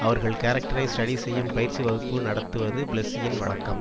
அவர்கள் கேரக்டரை ஸ்டடி செய்யும் பயிற்சி வகுப்பு நடத்துவது பிளெஸ்சியின் வழக்கம்